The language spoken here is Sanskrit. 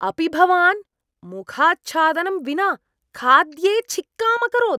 अपि भवान् मुखाच्छादनं विना खाद्ये छिक्काम् अकरोत्?